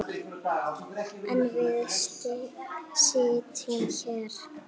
En við sitjum hér